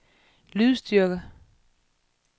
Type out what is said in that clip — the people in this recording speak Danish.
lydstyrke